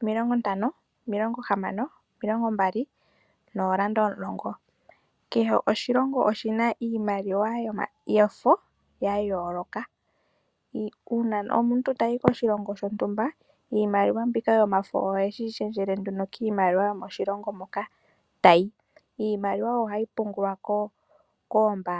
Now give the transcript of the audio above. omilongo ntano, omilongo hamano, omilongo mbali, noondola omulongo. Kehe oshilomgo oshina iimaliwa yomafo ya yooloka. Uuna omuntu tayi koshilongo shontumba, iimaliwa mbika yomafo oheyi lundululile nduno kiimaliwa yomoshilongo moka tayi. Iimaliwa ohayi pungulwa koombaanga.